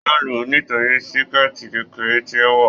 Wọn luu nítorí síkẹ́tí kekere tí o wọ.